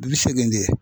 Bi seegin de ye